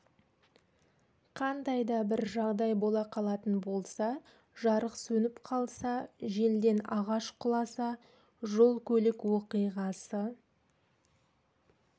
қандай да бір жағдай бола қалатын болса жарық сөніп қалса желден ағаш құласа жол көлік оқиғасы